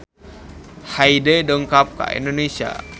Hyde dongkap ka Indonesia